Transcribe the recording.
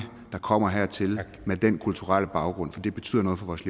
der kommer hertil med den kulturelle baggrund for det betyder noget for vores